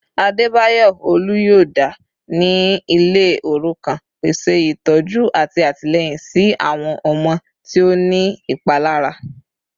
Adebayor oluyọọda ni ile orukan, pese itọju ati atilẹyin si awọn ọmọde ti o ni ipalara